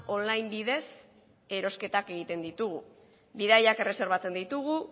on line bidez erosketak egiten ditugu bidaiak erreserbatzen ditugu